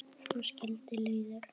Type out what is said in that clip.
Svo skildi leiðir.